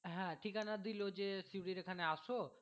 হ্যাঁ ঠিকানা দিলো যে সিউড়ির এখানে আসো